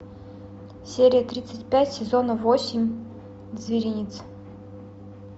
серия тридцать пять сезона восемь зверинец